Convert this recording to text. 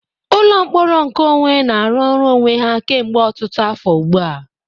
Ụlọ mkpọrọ nkeonwe na-arụ ọrụ onwe ha kemgbe ọtụtụ afọ ugbu a.